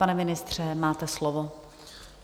Pane ministře, máte slovo.